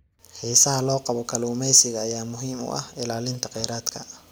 Xiisaha loo qabo kalluumeysiga ayaa muhiim u ah ilaalinta kheyraadka.